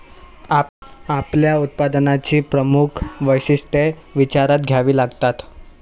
आपल्या उत्पादनाची प्रमुख वैशिष्ट्ये विचारात घ्यावी लागतात.